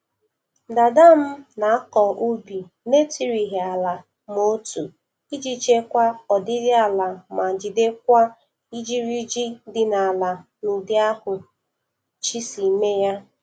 Dada m na-akọ ubi na-etirighị ala ma otu iji chekwa ọdịdị aịa ma jigidekwa ijiriji di n'ala n'ụdị ahụ Chi si mee ya.